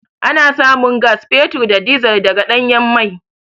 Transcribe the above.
Ana samun gas, fetur da dizil daga ɗanyen mai.